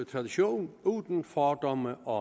tradition uden fordomme og